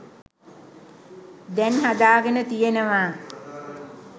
දැන් හදාගෙන තියෙනවා.